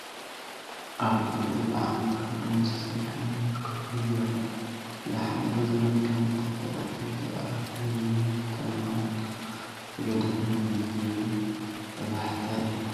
ኣብ ልዕሊኡ ዝዓነወ፡ ካብ እምኒ ዝተሰርሐ መንበር ኮፍ ኢሉ ይረአ። ዝሓለፈ ዘመን ከም ዝጠፍአን "እቲ ዘዕርፈሉ ዝነበረ ቦታ ንባዕሉ ከም ዝተገደፈን" ዝብል ቀዛሕታ ይህብ።